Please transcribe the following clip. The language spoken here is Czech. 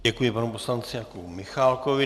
Děkuji panu poslanci Jakubu Michálkovi.